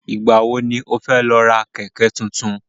Ìgbà wo ni ó fẹ́ lọ ra Kẹ̀kẹ́ tuntun?